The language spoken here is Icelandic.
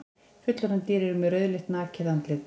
Fullorðin dýr eru með rauðleitt nakið andlit.